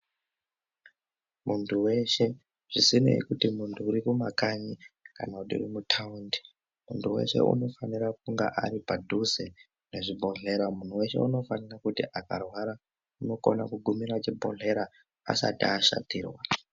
Muntu weshe zvisinei kuti muntu urikumakanyi kana kuti uri mutaundi muntu weshe unofanira kunga aripadhuze nezvibhedhlera muntu weshe unofanirwa kuti akarwara unokona kugumira chibhedhlera asati ashatirwa.